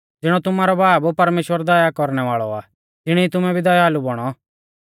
ज़िणौ तुमारौ बाब परमेश्‍वर दया कौरणै वाल़ौ आ तिणी तुमै भी दयालु बौणौ